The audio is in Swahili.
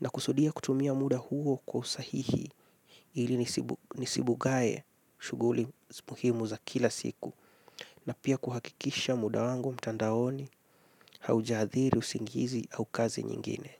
Nakusudia kutumia muda huo kwa usahihi, ili nisibugae shughuli muhimu za kila siku. Na pia kuhakikisha muda wangu mtandaoni, hauja adhiri usingizi au kazi nyingine.